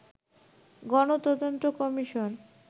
গণ তদন্ত কমিশন